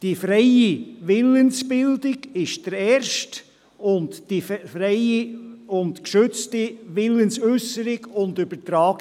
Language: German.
der erste die freie Willensbildung, der zweite die freie und geschützte Willensäusserung und -übertragung.